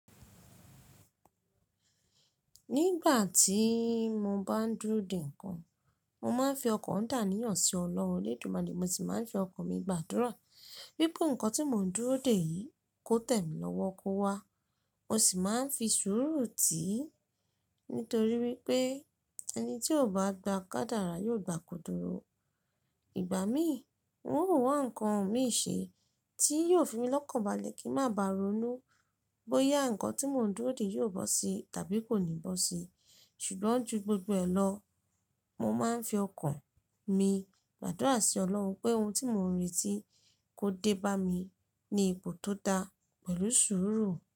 Nígbà tí mo bá ń dúró dè nǹkan, mo máa ń fi ọkàn dà níyàn sí Ọlọ́run Olódùmarè mo sì máa ń fi ọkàn mi gbàdúrà, bí pé nǹkan tí mò ń dúró dè yìí kó tẹ̀ mí lọ́wọ́ kó wá, ó sì máa ń fi sùúrù tì í, nítorí wípé ẹni tí ò bá gba ká dára yóò gba kóduro. Ìgbà mí, wọn ò wá nǹkan mìí ṣe tí yóò fi mi lọ́kànbalẹ̀ kí ń má baà ronú bóyá nǹkan tí mò ń dúró dè yóò bọ́ sí tàbí kò ní bọ́ sí. Ṣùgbọ́n ju gbogbo ẹ lọ, mo máa ń fi ọkàn mi gbàdúrà sí Ọlọ́run pé ohun tí mò ń retí kó dé bá mi ní ipò tó da pẹ̀lú sùúrù.